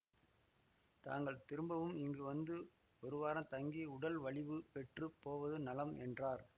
தாங்கள் திரும்பவும் இங்கு வந்து ஒருவாரம் தங்கி உடல் வலிவு பெற்றுப் போவது நலம் என்றார்